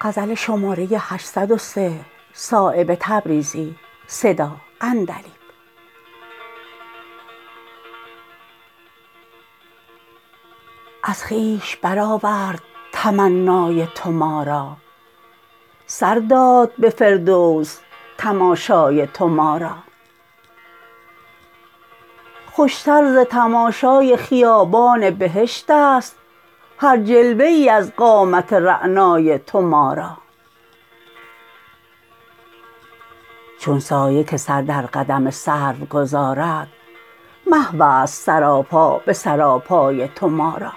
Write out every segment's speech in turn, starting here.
از خویش برآورد تمنای تو ما را سر داد به فردوس تماشای تو ما را خوشتر ز تماشای خیابان بهشت است هر جلوه ای از قامت رعنای تو ما را چون سایه که سر در قدم سرو گذارد محوست سراپا به سراپای تو ما را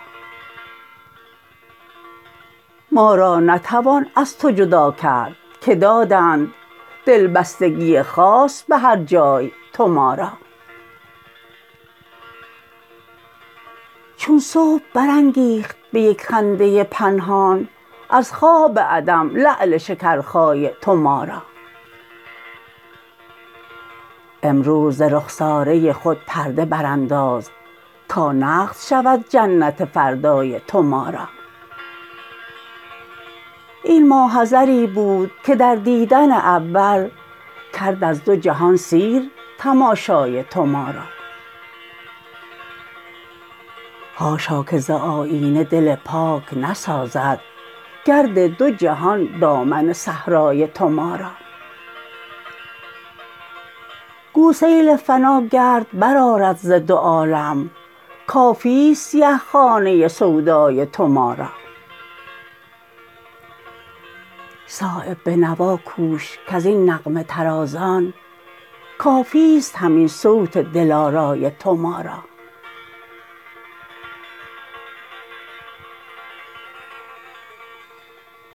ما را نتوان از تو جدا کرد که دادند دلبستگی خاص به هر جای تو ما را چون صبح برانگیخت به یک خنده پنهان از خواب عدم لعل شکرخای تو ما را امروز ز رخساره خود پرده برانداز تا نقد شود جنت فردای تو ما را این ماحضری بود که در دیدن اول کرد از دو جهان سیر تماشای تو ما را حاشا که ز آیینه دل پاک نسازد گرد دو جهان دامن صحرای تو ما را گو سیل فنا گرد برآرد ز دو عالم کافی است سیه خانه سودای تو ما را صایب به نوا کوش کز این نغمه طرازان کافی است همین صوت دلارای تو ما را